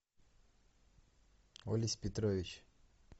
олесь петрович